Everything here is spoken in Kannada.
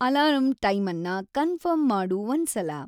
ಅಲಾರಂ ಟೈಮನ್ನ ಕನ್ಫಿರ್ಮ್‌ ಮಾಡು ಒಂದ್ಸಲ